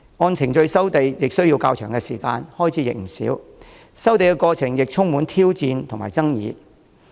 按程序收地需時較長，開支不少，收地過程亦充滿挑戰和爭議。